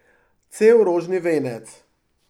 Cel rožni venec.